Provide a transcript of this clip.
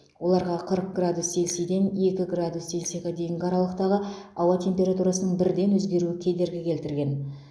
оларға қырық градус селсиден екі градус селсиға дейінгі аралықтағы ауа температурасының бірден өзгеруі кедергі келтірген